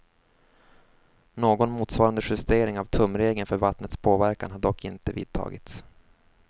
Någon motsvarande justering av tumregeln för vattnets påverkan har dock inte vidtagits.